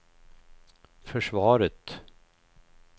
försvaret